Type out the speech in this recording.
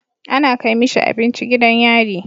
Ana Kai mishi abinci gidan yari